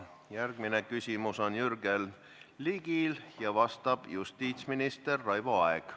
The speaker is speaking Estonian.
Järgmine küsimus on Jürgen Ligil, vastab justiitsminister Raivo Aeg.